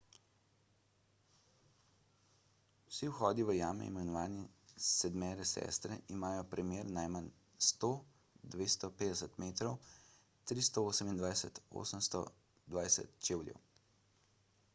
vsi vhodi v jame imenovani sedmere sestre imajo premer najmanj 100–250 metrov 328–820 čevljev